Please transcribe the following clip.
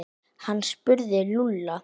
Hann spurði Lúlla.